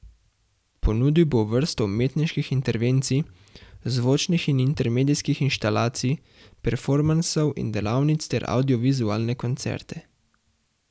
Ponudil bo vrsto umetniških intervencij, zvočnih in intermedijskih instalacij, performansov in delavnic ter avdiovizualne koncerte.